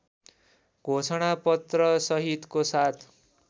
घोषणा पत्रसहितको साथ